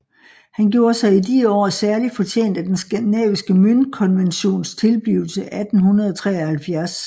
Han gjorde sig i de år særlig fortjent af den skandinaviske møntkonventions tilblivelse 1873